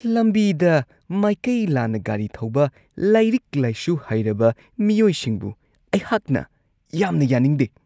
ꯂꯝꯕꯤꯗ ꯃꯥꯏꯀꯩ ꯂꯥꯟꯅ ꯒꯥꯔꯤ ꯊꯧꯕ ꯂꯥꯏꯔꯤꯛ-ꯂꯥꯏꯁꯨ ꯍꯩꯔꯕ ꯃꯤꯑꯣꯏꯁꯤꯡꯕꯨ ꯑꯩꯍꯥꯛꯅ ꯌꯥꯝꯅ ꯌꯥꯅꯤꯡꯗꯦ ꯫